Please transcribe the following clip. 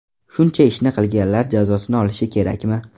Shuncha ishni qilganlar jazosini olishi kerakmi?